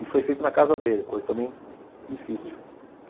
E foi feito na casa dele, coisa também difícil.